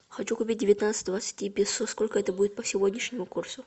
хочу купить девятнадцать двадцати песо сколько это будет по сегодняшнему курсу